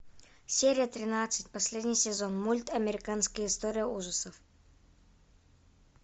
серия тринадцать последний сезон мульт американская история ужасов